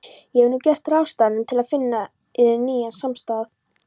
Ég hef nú gert ráðstafanir til finna yður nýjan samastað.